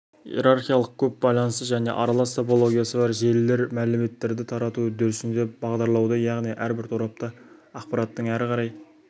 иерархиялық көп байланысты және аралас топологиясы бар желілер мәліметтерді тарату үдерісінде бағдарлауды яғни әрбір торапта ақпараттың әрі қарай